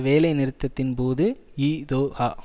வேலை நிறுத்தத்தின் போது இதொகா